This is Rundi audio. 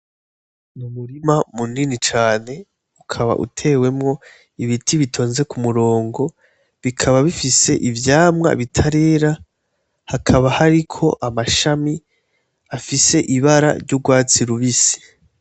Umurima munini cane, ukaba utewemwo ibiti bitonze ku murongo, bikaba bifise ivyamwa bitarera, hakaba hariko amashami afise ibara ry'urwatsi rubisi.